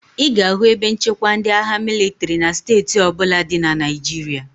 Ị ga-ahụ ebe nchekwa ndị agha mịlịtrị na steeti ọ bụla dị na Naịjirịa.